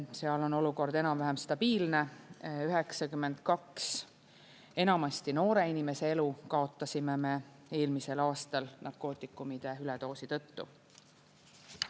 Seal on olukord enam-vähem stabiilne – 92 enamasti noore inimese elu kaotasime me eelmisel aastal narkootikumide üledoosi tõttu.